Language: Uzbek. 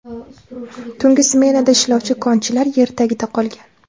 Tungi smenada ishlovchi konchilar yer tagida qolgan.